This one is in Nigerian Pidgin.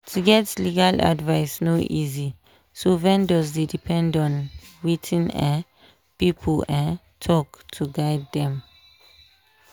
to get legal advice no easy so vendors dey depend on wetin um people um talk to guide them.